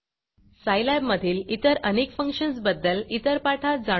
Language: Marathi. सायलॅब मधील इतर अनेक फंक्शन्सबद्दल इतर पाठात जाणून घेऊ